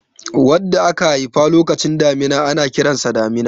wanda aka haifa lokacin damina ana Kiransa damina